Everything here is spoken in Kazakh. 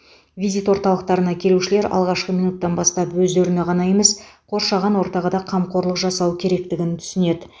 визит орталықтарына келушілер алғашқы минуттан бастап өздеріне ғана емес қоршаған ортаға да қамқорлық жасау керектігін түсінеді